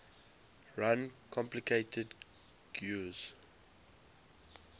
run complicated guis